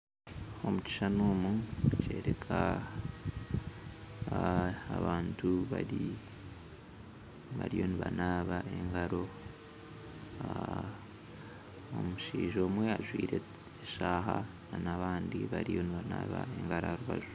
Omu kishushani omu nikyoreka abantu bari bariyo nibanaaba engaro omushaija omwe ajwaire eshaaha na nabandi bariyo nibanaaba engaro aharubaju